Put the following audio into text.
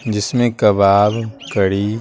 जिसमें कबाब कड़ी।